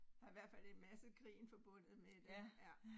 Der i hvert fald en masse grin forbundet med det ja